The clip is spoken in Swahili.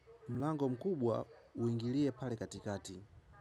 Mlango mkubwa uingilie pale katikati.